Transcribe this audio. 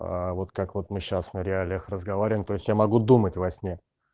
вот как вот мы сейчас на реалиях разговариваем то есть я могу думать во сне